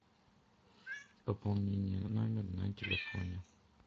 пополнение номера на телефоне